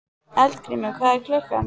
Eldgrímur, hvað er klukkan?